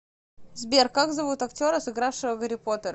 сбер как зовут актера сыгравшего гарри потера